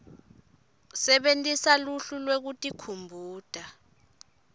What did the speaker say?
sebentisa luhlu lwekutikhumbuta